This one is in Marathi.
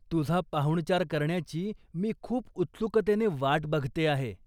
तुझा पाहुणचार करण्याची मी खूप उत्सुकतेने वाट बघते आहे.